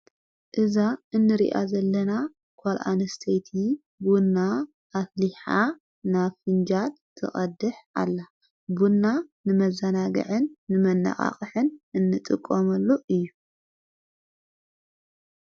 እዛ እንርኣ ዘለና ኳልዓንስተቲ ብንና ኣትሊሓ ና ፊንጃድ ተቐድሕ ኣላ ቡንና ንመዛናግዕን ንመነቓቕሕን እንጥቖመሉ እዩ።